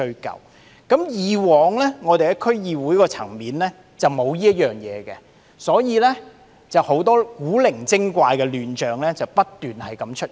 由於以往在區議會層面無須宣誓，很多古靈精怪的亂象不斷出現。